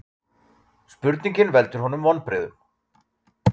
Spurningin veldur honum vonbrigðum.